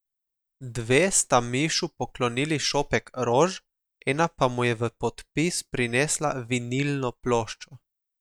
Dve sta Mišu poklonili šopek rož, ena pa mu je v podpis prinesla vinilno ploščo.